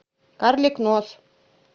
карлик нос